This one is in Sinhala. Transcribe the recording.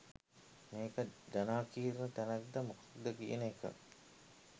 මේක ජනාකීර්ණ තැනක්ද මොකක්ද කියන එක.